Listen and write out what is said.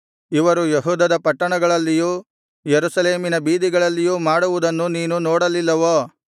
ಇವರು ಯೆಹೂದದ ಪಟ್ಟಣಗಳಲ್ಲಿಯೂ ಯೆರೂಸಲೇಮಿನ ಬೀದಿಗಳಲ್ಲಿಯೂ ಮಾಡುವುದನ್ನು ನೀನು ನೋಡಲಿಲ್ಲವೋ